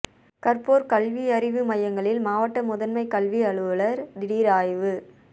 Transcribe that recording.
கற்போர் கல்வியறிவு மையங்களில் மாவட்ட முதன்மை கல்வி அலுவலர் திடீர் ஆய்வு